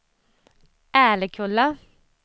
Älekulla